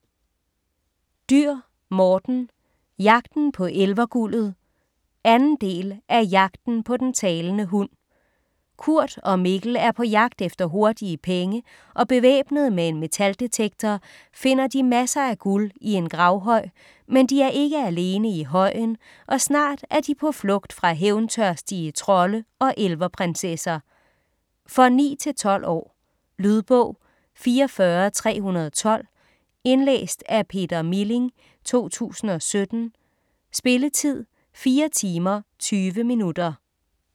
Dürr, Morten: Jagten på elverguldet 2. del af Jagten på den talende hund. Kurt og Mikkel er på jagt efter hurtige penge, og bevæbnet med en metaldetektor finder de masser af guld i en gravhøj, men de er ikke alene i højen, og snart er de på flugt fra hævntørstige trolde og elverprinsesser. For 9-12 år. Lydbog 44312 Indlæst af Peter Milling, 2017. Spilletid: 4 timer, 20 minutter.